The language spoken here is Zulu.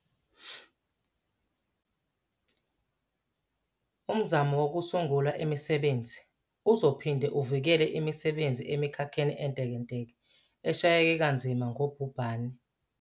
Umzamo wokusungula imisebenzi uzophinde uvikele imisebenzi emikhakheni entekenteke eshayeke kanzima ngubhubhane.